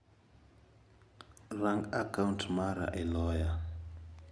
Ran'i a kaunt mara e loya.